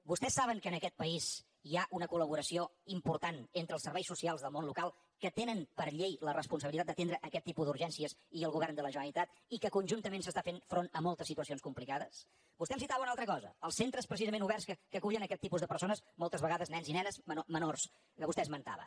vostès saben que en aquest país hi ha una colimportant entre els serveis socials del món local que tenen per llei la responsabilitat d’atendre aquest tipus d’urgència i el govern de la generalitat i que conjuntament s’està fent front a moltes situacions complicades vostè em citava una altra cosa els centres precisament oberts que acullen aquest tipus de persones moltes vegades nens i nenes menors que vostè esmentava